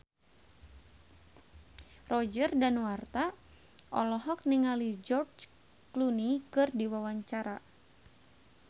Roger Danuarta olohok ningali George Clooney keur diwawancara